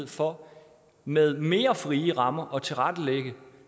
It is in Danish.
for med mere frie rammer planmæssigt at tilrettelægge